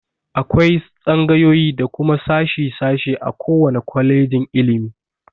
Akwai tsangayoyi da kuma sashi- sashi a ko wane kwalejin ilimi.